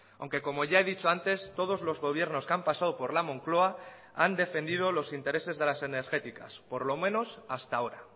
aunque como ya he dicho antes todos los gobiernos que han pasado por la moncloa han defendido los intereses de las energéticas por lo menos hasta ahora